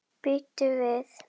Bíddu við.